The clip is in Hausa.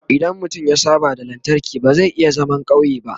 idan mutum ya saba da lantarki ba zai iya zaman ƙauye ba